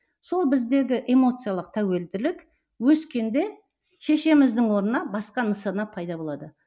сол біздегі эмоциялық тәуілділік өскенде шешеміздің орнына басқа нысана пайда болады